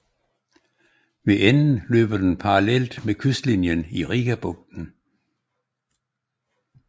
Ved enden løber den parallelt med kystlinjen i Rigabugten